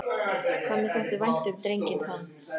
Hvað mér þótti vænt um drenginn þann.